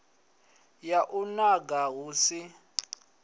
ya u nanga hu si